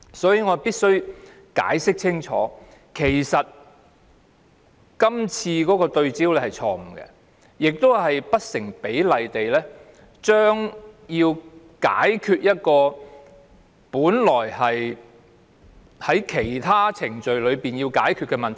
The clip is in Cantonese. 所以，我必須清楚解釋，這項修正案焦點錯誤，以期透過司法程序處理本來應透過其他程序解決的問題。